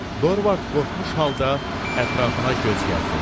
Dorvard qorxmuş halda ətrafına göz gəzdirdi.